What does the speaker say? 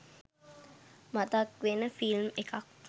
මතක් වෙන ෆිල්ම් එකක්